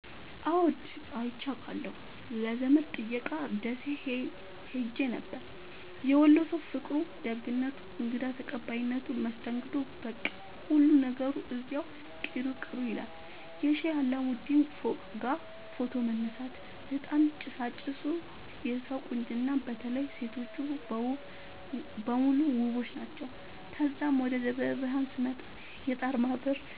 አዎድ አይቼ አቃለሁ ለዘመድ ጥየቃ ደሴ ኸሄ ነበር። የወሎ ሠዉ ፍቅሩ፣ ደግነቱ፣ እንግዳ ተቀባይነቱ መስተንግዶዉ በቃ ሁሉ ነገሩ እዚያዉ ቅሩ ቅሩ ይላል። የሼህ አላሙዲን ፎቅጋ ፎቶ መነሳት፤ እጣን ጭሣጭሡ የሠዉ ቁንጅና በተለይ ሤቶቹ በሙሉ ዉቦች ናቸዉ። ተዛም ወደ ደብረብርሀን ስመጣ የጣርማበር